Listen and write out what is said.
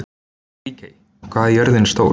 Ríkey, hvað er jörðin stór?